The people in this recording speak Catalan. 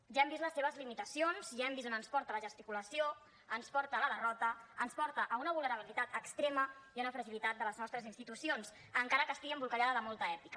ja hem vist les seves limitacions ja hem vist a on es porta la gesticulació ens porta a la derrota ens porta a una vulnerabilitat extrema i a una fragilitat de les nostres institucions encara que estigui embolcallada de molta èpica